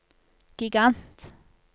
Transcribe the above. gigant